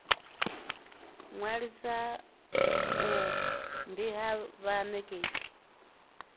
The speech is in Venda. ṅwalisa uhu ndi ha vhanekedzi